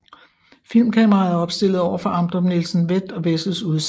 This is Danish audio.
Filmkameraet er opstillet overfor Amdrup Nielsens Vett og Wessels udsalg